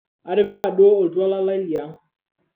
atipika duo oltuala lai leang'